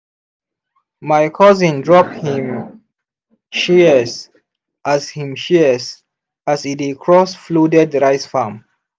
my cousin drop him shears as him shears as e dey cross flooded rice farm.